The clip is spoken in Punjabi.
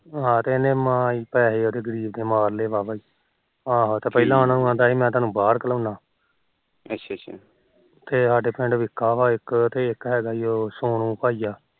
ਹਾ ਤੇ ਇਹਨੇ ਮਾਰ ਲੈ ਉਹਦੇ ਗਰੀਬ ਦੇ ਮਾਰਲੇ ਵਾਹ ਵਾਹ ਹੀ ਆਹੋ ਤੇ ਪਹਿਲਾ ਉਹਨੂੰ ਕਹਿੰਦਾ ਸੀ ਮੈ ਤੈਨੂੰ ਬਾਹਰ ਘਲੋਦਾ ਅੱਛਾ ਅੱਛਾ ਤੇ ਸਾਡੇ ਪਿੰਡ ਇੱਕ ਵਿਕਾ ਤੇ ਇਕ ਉਹ ਸੋਨੂੰ ਭਾਈਆਂ ਅੱਛਾ